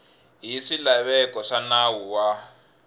hi swilaveko swa nawu wa